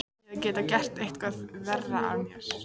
Ég hefði getað gert eitthvað verra af mér.